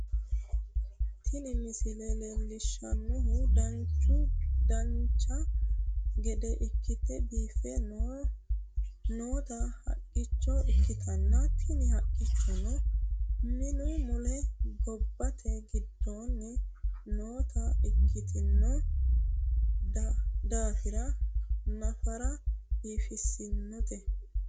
Tini misile leellishshannohu dancha gede ikkite biiffe noota haqqicho ikkitanna tini haqqichono minu mule gibbete giddoonni noota ikkitino daafira nafara biifissinote